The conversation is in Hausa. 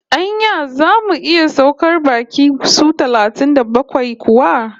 Anya zamu iya saukar baƙi su talatin da bakwai kuwa?